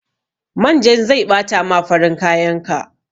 Manjan zai ɓata ma farin kayan ka.